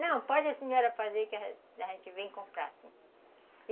Não, pode a senhora fazer que a gente vem comprar sim.